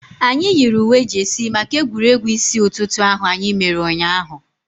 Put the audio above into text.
Anyị yiri uwe jeesi maka egwuregwu isi ụtụtụ ahu anyị mere ụnyaahụ